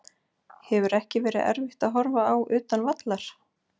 Hefur ekki verið erfitt að horfa á utan vallar?